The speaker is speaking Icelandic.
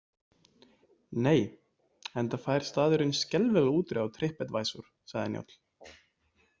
Nei, enda fær staðurinn skelfilega útreið á Trip Advisor, sagði Njáll.